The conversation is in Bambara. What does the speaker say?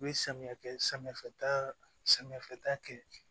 U ye samiya kɛ samiyafɛta samiyafɛta kɛ